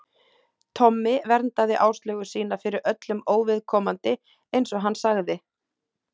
Tommi verndaði Áslaugu sína fyrir öllum óviðkomandi, eins og hann sagði.